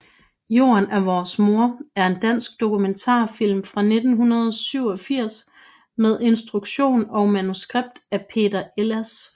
Jorden er vores mor er en dansk dokumentarfilm fra 1987 med instruktion og manuskript af Peter Elsass